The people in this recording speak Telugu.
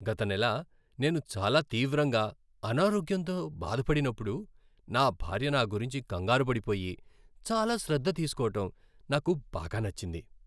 గత నెల నేను చాలా తీవ్రంగా అనారోగ్యంతో బాధపడిప్పుడు నా భార్య నాగురించి కంగారుపడిపోయి, చాలా శ్రద్ధ తీసుకోవడం నాకు బాగా నచ్చింది.